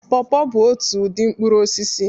Paw paw bụ otu ụdị mkpụrụ osisi